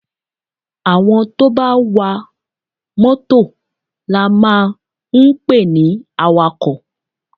Àwọn tó bá wá mọ́tọ̀ la máa ń pe ní àwàkọ̀.